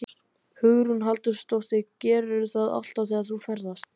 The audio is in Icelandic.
Hugrún Halldórsdóttir: Gerirðu það alltaf þegar þú ferðast?